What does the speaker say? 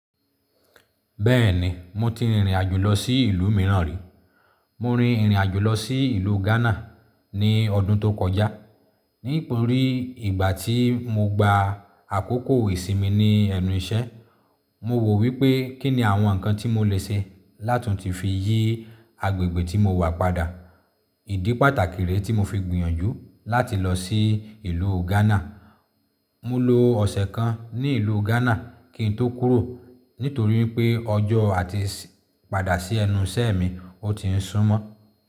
Bẹ́ẹ̀ni, mo ti rìnrìn àjò lọ sí ìlú mìíràn rí. Mo rin ìrìn àjò lọ sí ìlú Ghana ní ọdún tó kọjá. Nítorí ìgbà tí mo gba àkókò ìsinmi ní ẹnu iṣẹ́, mo wò wípé kín ni àwọn nǹkan tí mo lè ṣe láti fi yí agbègbè tí mo wà padà. Ìdí pàtàkì rẹ̀ tí mo fi gbìyànjú láti lọ sí ìlú Ghana. Mo lo ọ̀sẹ̀ kan ní ìlú Ghana kín tó kúrò, nítorí pé ọjọ́ àti padà sí ẹnu iṣẹ́ mi ó tiń súmọ́